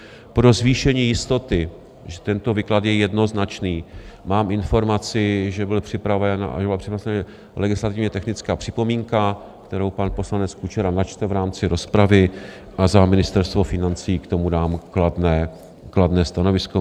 Pro zvýšení jistoty, že tento výklad je jednoznačný, mám informaci, že byl připraven... legislativně technická připomínka, kterou pan poslanec Kučera načte v rámci rozpravy, a za Ministerstvo financí k tomu dám kladné stanovisko.